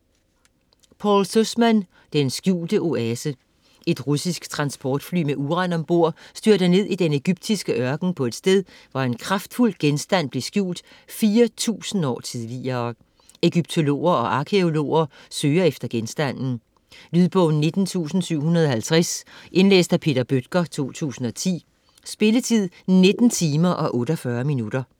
Sussman, Paul: Den skjulte oase Et russisk transportfly med uran om bord styrter ned i den ægyptiske ørken på et sted, hvor en kraftfuld genstand blev skjult 4000 år tidligere. Ægyptologer og arkæologer søger efter genstanden. Lydbog 19750 Indlæst af Peter Bøttger, 2010. Spilletid: 19 timer, 48 minutter.